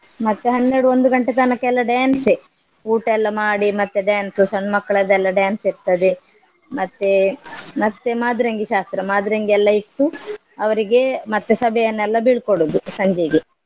ಮತ್ತೆ ಹನ್ನೆರಡು ಒಂದು ಗಂಟೆ ತನಕ ಎಲ್ಲ dance ಯೇ ಊಟ ಎಲ್ಲ ಮಾಡಿ ಮತ್ತೆ dance ಸಣ್ಣ್ ಮಕ್ಳದ್ದೆಲ್ಲ dance ಇರ್ತದೆ ಮತ್ತೇ ಮತ್ತೆ ಮಾದ್ರೆಂಗಿ ಶಾಸ್ತ್ರ ಮಾದ್ರೆಂಗಿ ಎಲ್ಲ ಇಟ್ಟು ಅವ್ರಿಗೆ ಮತ್ತೆ ಸಭೆಯನ್ನೆಲ್ಲ ಬೀಳ್ಕೊಡುದು ಸಂಜೆಗೆ.